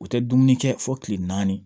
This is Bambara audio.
U tɛ dumuni kɛ fo kile naani